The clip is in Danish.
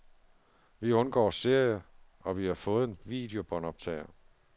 Vi undgår serier, og vi har fået en videobåndoptager.